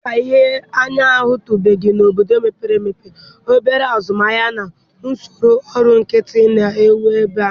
Dịka ihe anyị ahụtụbeghị n'obodo mepere emepe, obere azụmahịa, na usoro ọrụ nkịtị ne ewu ebe a.